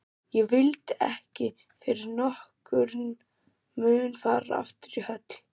Ég vildi ekki fyrir nokkurn mun fara aftur í höll